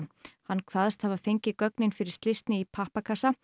hann kveðst hafa fengið gögnin fyrir slysni í pappakassa